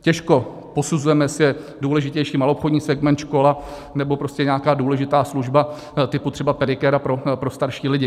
Těžko posuzujeme, jestli je důležitější maloobchodní segment, škola nebo prostě nějaká důležitá služba typu třeba pedikéra pro starší lidi.